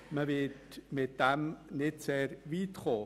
Man wird damit nicht sehr weit kommen.